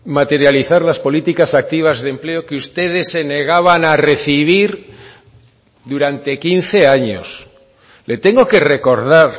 materializar las políticas activas de empleo que ustedes se negaban a recibir durante quince años le tengo que recordar